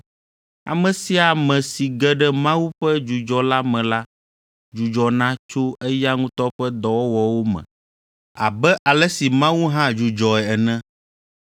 Ame sia ame si ge ɖe Mawu ƒe dzudzɔ la me la dzudzɔna tso eya ŋutɔ ƒe dɔwɔwɔwo me abe ale si Mawu hã dzudzɔe ene.